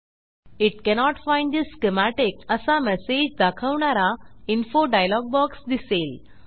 it cannot find the schematic असा message दाखवणारा info dialog box दिसेल